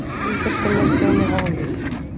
Íþróttamiðstöðinni Hóli